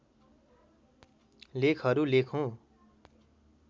लेखहरू लेखुँ